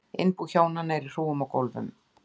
Innbú hjónanna er í hrúgum á gólfum.